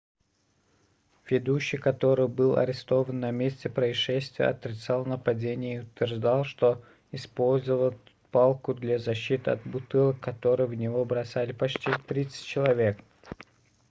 ведущий который был арестован на месте происшествия отрицал нападение и утверждал что использовал палку для защиты от бутылок которые в него бросали почти тридцать человек